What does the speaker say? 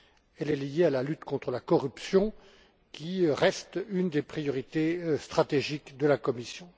Elle est liée à la lutte contre la corruption, qui reste une des priorités stratégiques de la Commission.